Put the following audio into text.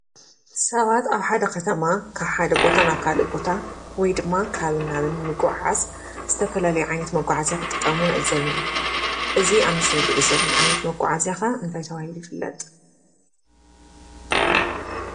ሰባት ኣብ ሓደ ኸተማ ካብ ሓደ ቦታ ናብ ካልእ ቦታ ወይ ድማ ካብን ናብን ንምጒዕዓዝ ዝተፈላለዩ ዓይነት መጓዓዝያ ክጥቀሙ ንዕዘብ ኢና፡፡ እዚ ኣብ ምስሊ ንሪኦ ዘለና ዓይነት መጓዓዝያ ኸ እንታይ ተባሂሉ ይፍለጥ?